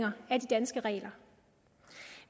af de danske regler